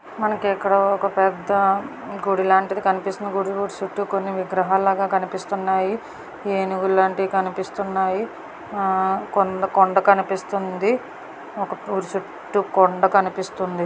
మనకిక్కడ ఒక పెద గుడిలాంటిది కనిపిస్తుంది గుడి చుట్టు కొన్ని విగ్రహల్లాగా కనిపిస్తున్నాయి యెనుగుల్లంటివి కనిపిస్తోంది హా కొండ కొండ కనిపిస్తుందీ ఒక గుడి చుట్టు కొండ కనిపిస్తుందీ.